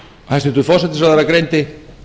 hæstvirtur forsætisráðherra greindi